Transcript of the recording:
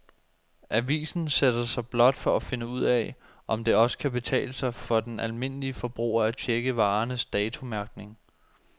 Avisen sætter sig blot for at finde ud af, om det også kan betale sig for den almindelige forbruger at checke varernes datomærkning.